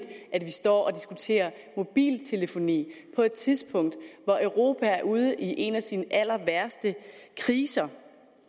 at vi står og diskuterer mobiltelefoni på et tidspunkt hvor europa er ude i en af sine allerværste kriser